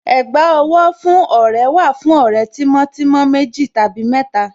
Ẹ̀gbá owó fún ọ̀rẹ́ wà fún ọ̀rẹ́ tímọ́ tímọ́ méjì tàbí mẹ́ta.